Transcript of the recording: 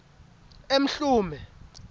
emhlume